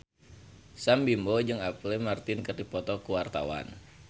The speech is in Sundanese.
Sam Bimbo jeung Apple Martin keur dipoto ku wartawan